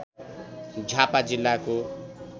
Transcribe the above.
झापा जिल्लाको